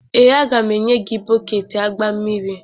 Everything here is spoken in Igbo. Ee, a ga m enye gị bọket agba mmiri